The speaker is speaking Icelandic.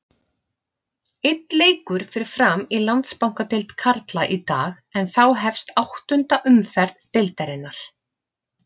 Einn leikur fer fram í Landsbankadeild karla í dag en þá hefst áttunda umferð deildarinnar.